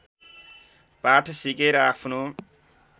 पाठ सिकेर आफ्नो